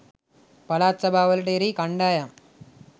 පළාත් සභාවට එරෙහි කණ්ඩායම්